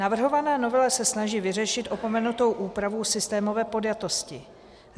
Navrhovaná novela se snaží vyřešit opomenutou úpravu systémové podjatosti.